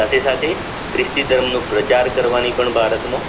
સાથે સાથે ખ્રિસ્તી ધર્મનો પ્રચાર કરવાની પણ ભારતમાં